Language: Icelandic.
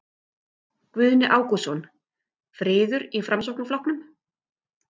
Guðni Ágústsson: Friður í Framsóknarflokknum?